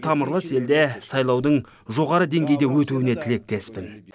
тамырлас елде сайлаудың жоғарғы деңгейде өтуіне тілектеспін